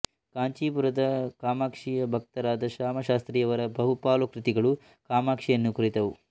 ಕಾಂಚೀಪುರದ ಕಾಮಾಕ್ಷಿಯ ಭಕ್ತರಾದ ಶ್ಯಾಮಾಶಾಸ್ತ್ರಿಯವರ ಬಹುಪಾಲು ಕೃತಿಗಳು ಕಾಮಾಕ್ಷಿಯನ್ನು ಕುರಿತವು